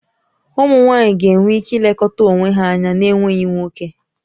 Ụmụ nwaanyị ga-enwe ike ilekọta onwe ha anya n'enweghị nwoke